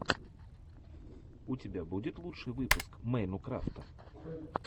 у тебя будет лучший выпуск мэйнукрафта